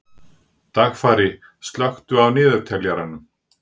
Dagfari, slökktu á niðurteljaranum.